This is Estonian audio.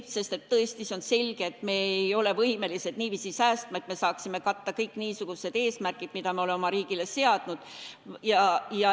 Sest tõesti, see on selge, et me ei ole võimelised nii palju säästma, et me saaksime katta kõik niisugused eesmärgid, mida me oleme oma riigile seadnud.